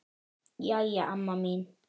Jæja amma mín.